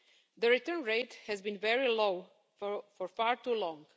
The return rate has been very low for far too long.